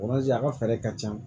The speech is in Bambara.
a ka fɛɛrɛ ka ca